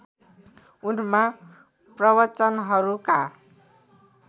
उनमा प्रवचनहरूका